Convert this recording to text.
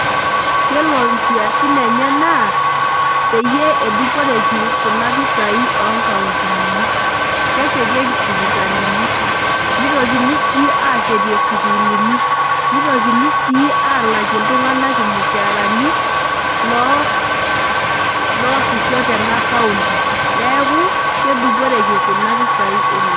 Iyiolo nkiasin enye na peyie eduporeki kuna pisai onkautini, keshetieki sipitalini nitokini si ashetie sukulini nitokini si alakie ltunganak irmushaarani loloosisho tena county neaku keduporeki kuna pisai oleng.